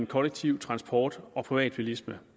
kollektiv transport og privatbilisme